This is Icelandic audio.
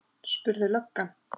spurði löggan.